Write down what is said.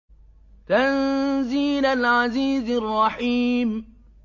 تَنزِيلَ الْعَزِيزِ الرَّحِيمِ